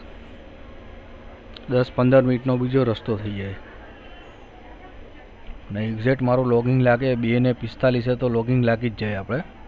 દસ પંદર મિનીટ નો બીજો રસ્તો થઇ જાય અને exect મારું login લહે બે ને પિસ્તાળીસે તો login જ જાય આપડે.